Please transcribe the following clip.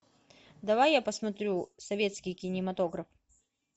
давай я посмотрю советский кинематограф